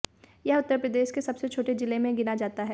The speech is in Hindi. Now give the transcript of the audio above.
यह उत्तर प्रदेश के सबसे छोटे जिले में गिना जाता है